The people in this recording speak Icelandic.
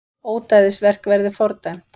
Ódæðisverk verði fordæmt